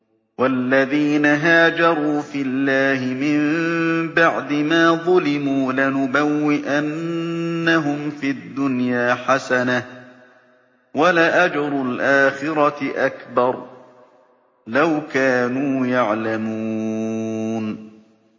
وَالَّذِينَ هَاجَرُوا فِي اللَّهِ مِن بَعْدِ مَا ظُلِمُوا لَنُبَوِّئَنَّهُمْ فِي الدُّنْيَا حَسَنَةً ۖ وَلَأَجْرُ الْآخِرَةِ أَكْبَرُ ۚ لَوْ كَانُوا يَعْلَمُونَ